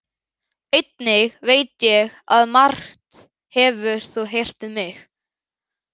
Einnig veit ég að margt hefur þú heyrt um mig.